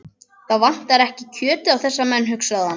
Það vantar ekki kjötið á þessa menn, hugsaði hann.